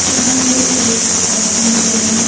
यहां पे एक आदमी जो है।